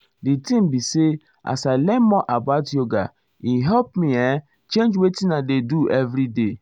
di thing be say as i learn more about yoga e help me[um]change wetin i dey go everyday.